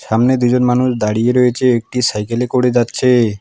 সামনে দুজন মানুষ দাঁড়িয়ে রয়েছে একটি সাইকেলে করে যাচ্ছেএ।